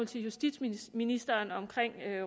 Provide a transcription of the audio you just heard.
til justitsministeren om